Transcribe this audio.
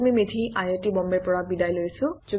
এয়া আছিল কান্নন মৌদগল্য